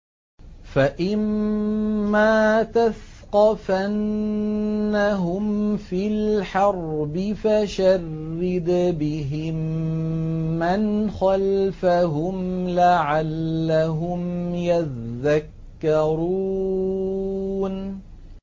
فَإِمَّا تَثْقَفَنَّهُمْ فِي الْحَرْبِ فَشَرِّدْ بِهِم مَّنْ خَلْفَهُمْ لَعَلَّهُمْ يَذَّكَّرُونَ